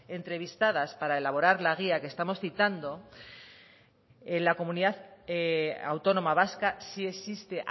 entrevistadas para elaborar la guía que estamos citando en la comunidad autónoma vasca sí existe